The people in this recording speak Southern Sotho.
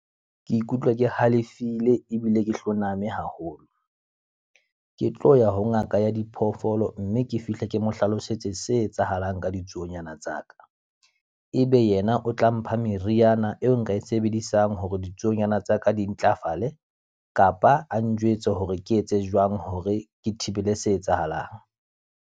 Ke ikutlwa ke halefile ebile ke hloname haholo. Ke tlo ya ho ngaka ya diphoofolo mme ke fihle ke mo hlalosetse se etsahalang ka ditsuonyana tsa ka. E be yena o tla mpha meriana eo nka e sebedisang hore ditsuonyana tsa ka di ntlafale, kapa a njwetse hore ke etse jwang hore ke thibele se etsahalang.